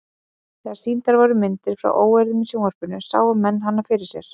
Þegar sýndar voru myndir frá óeirðum í sjónvarpinu sáu menn hana fyrir sér.